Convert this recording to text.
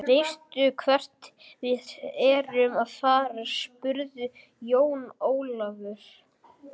Veistu hvert við erum að fara, spurði Jón Ólafur.